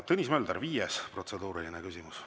Tõnis Mölder, viies protseduuriline küsimus.